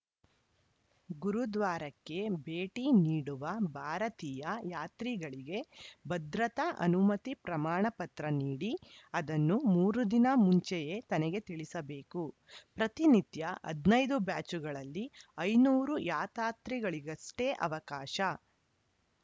ಗುರುದ್ವಾರಕ್ಕೆ ಭೇಟಿ ನೀಡುವ ಭಾರತೀಯ ಯಾತ್ರಿಗಳಿಗೆ ಭದ್ರತಾ ಅನುಮತಿ ಪ್ರಮಾಣಪತ್ರ ನೀಡಿ ಅದನ್ನು ಮೂರು ದಿನ ಮುಂಚೆಯೇ ತನಗೆ ತಿಳಿಸಬೇಕು ಪ್ರತಿನಿತ್ಯ ಹದಿನೈದು ಬ್ಯಾಚುಗಳಲ್ಲಿ ಐದುನೂರು ಯಾತ್ರಾರ್ಥಿಗಳಿಗಷ್ಟೇ ಅವಕಾಶ